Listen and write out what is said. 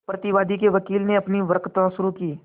प्रतिवादी के वकील ने अपनी वक्तृता शुरु की